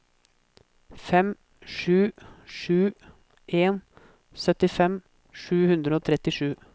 fem sju sju en syttifem sju hundre og trettisju